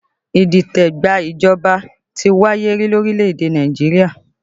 Idite gba ìjọba ti wáyé rí lórílẹ̀ èdè Nàìjíríà